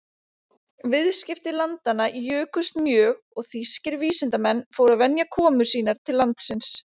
Viðskipti landanna jukust mjög og þýskir vísindamenn fóru að venja komur sínar til landsins.